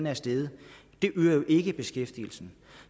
er steget det øger jo ikke beskæftigelsen